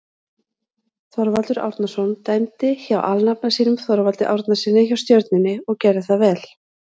Þorvaldur Árnason dæmdi hjá alnafna sínum Þorvaldi Árnasyni hjá Stjörnunni og gerði það vel.